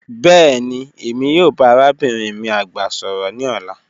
Bẹẹni Emi yoo ba arabinrin mi agba sọrọ ni ọla